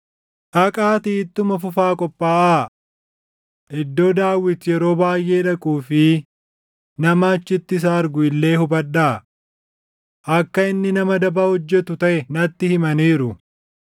Dhaqaatii ittuma fufaa qophaaʼaa. Iddoo Daawit yeroo baayʼee dhaquu fi nama achitti isa argu illee hubadhaa. Akka inni nama daba hojjetu taʼe natti himaniiru.